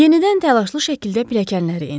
Yenidən təlaşlı şəkildə pilləkənləri endi.